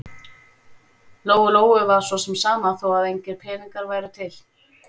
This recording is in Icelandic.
Lóu-Lóu var svo sem sama þó að engir peningar væru til.